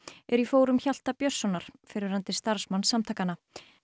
eru í fórum Hjalta Björnssonar fyrrverandi starfsmanns samtakanna